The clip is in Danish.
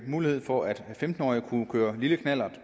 mulighed for at femten årige kunne køre lille knallert